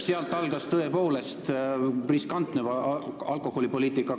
Sealt algas tõepoolest see riskantne alkoholipoliitika.